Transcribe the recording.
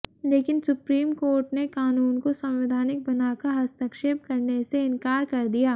लेकिन Supreme Court ने कानून को संवैधानिक बनाकर हस्तक्षेप करने से इनकार कर दिया